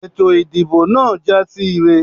Ètò ìdìbò náà jásí ire.